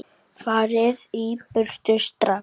FARIÐ Í BURTU STRAX!